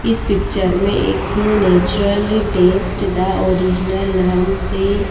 इस पिक्चर में एक नेचुरल टेस्ट द ओरिजिनल नाम से--